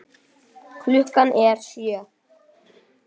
Klukkan er sjö!